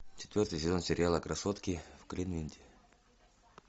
четвертый сезон сериала красотки в кливленде